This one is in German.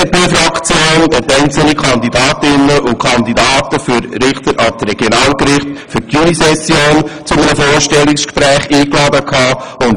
Die BDP-Fraktion hat einzelne Kandidatinnen und Kandidaten zu einem Vorstellungsgespräch eingeladen.